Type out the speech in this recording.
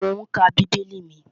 Mò ún ka bíbélì mi